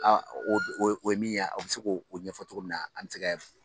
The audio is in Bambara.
A o o o ye min ye o bɛ se k'o ɲɛfɔ cogo min na an mɛ se ka